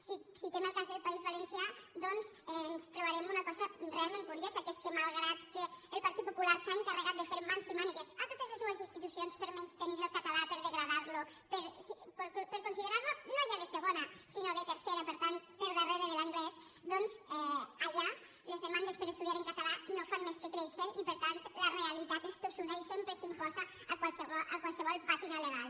si citem el cas del país valencià ens trobarem una co·sa realment curiosa que és que malgrat que el partit popular s’ha encarregat de fer mans i mànigues a totes les seues institucions per a menystenir el català per a degradar·lo per a considerar·lo no ja de segona sinó de tercera per tant per darrere de l’anglès doncs allà les demandes per a estudiar en català no fan més que créixer i per tant la realitat és tossuda i sempre s’im·posa a qualsevol pàtina legal